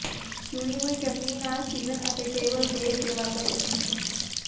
ਚੁਣੀ ਹੋਈ ਚਟਣੀ ਨਾਲ ਸੀਜ਼ਨ ਅਤੇ ਟੇਬਲ ਤੇ ਸੇਵਾ ਕਰੋ